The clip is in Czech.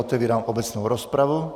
Otevírám obecnou rozpravu.